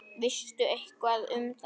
Veistu eitthvað um það?